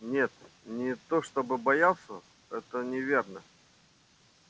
нет не то чтоб боялся это неверно